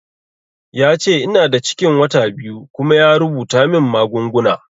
Yace ina da cikin wata biyu kuma ya rubuta min magunguna